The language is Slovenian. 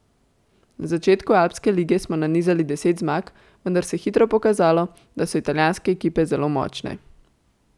Na začetku Alpske lige smo nanizali deset zmag, vendar se je hitro pokazalo, da so italijanske ekipe zelo močne.